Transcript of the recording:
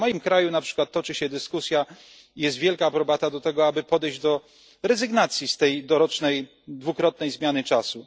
W moim kraju, na przykład, toczy się dyskusja i jest wielka aprobata dla tego, aby podejść do rezygnacji z tej dorocznej dwukrotnej zmiany czasu.